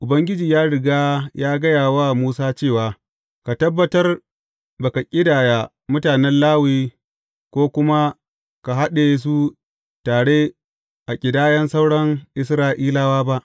Ubangiji ya riga ya gaya wa Musa cewa, Ka tabbatar ba ka ƙidaya mutanen Lawi ko kuma ka haɗe su tare a ƙidayan sauran Isra’ilawa ba.